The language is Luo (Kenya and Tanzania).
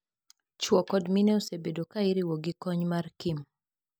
Chuo kod mine osebedo kairiwo gi kony mar Kim.